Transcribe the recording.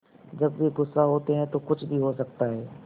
जब वे गुस्सा होते हैं तो कुछ भी हो सकता है